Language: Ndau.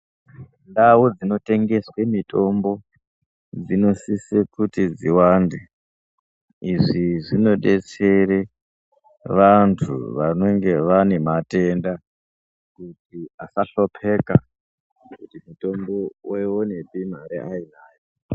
Ndau dzinotengeswe mitombo dzinosise kuti dziwande izvi zvinodetsera vantu vanenge vane matenda kuti asahlupeka kuti voiwonepi mitombo mare ainayo.